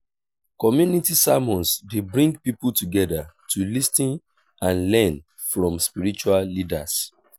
community sermons dey bring people together to lis ten and learn from spiritual leaders.